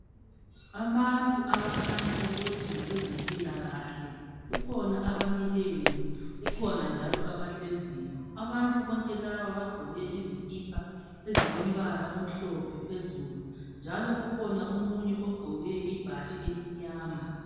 Abantu abakhanya ukuthi ngabezempilakahle kukhona abamileyo kukhona njalo abahleziyo. Abantu bonke labo bagqoke izikipa ezilombala omhlophe phezulu njalo njalo kukhona omunye ogqoke ibhatshi elimnyama.